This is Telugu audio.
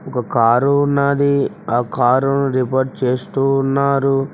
ఒక కారు ఉన్నది ఆ కార్ రిపేర్ చేస్తూ ఉన్నారు.